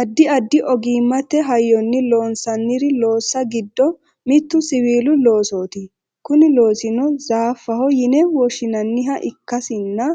addi addi ogimmate hayyonni loonsanni loossa giddo mittu siwiilu loosooti kuni loosino zaaffaho yine woshshinanniha ikkasinna